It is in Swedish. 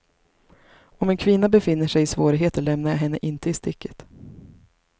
Om en kvinna befinner sig i svårigheter lämnar jag henne inte i sticket.